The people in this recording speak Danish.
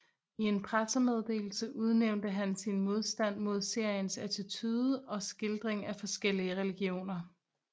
I en pressemeddelelse nævnte han sin modstand mod seriens attitude og skildring af forskellige religioner